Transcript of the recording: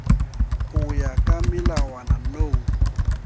ho ya ka molawana no